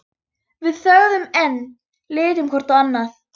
Við þögðum enn, litum hvort á annað.